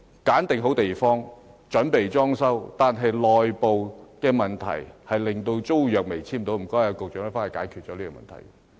選址已定，準備裝修，卻因政府內部問題，令租約未能簽訂，麻煩局長快速解決這問題。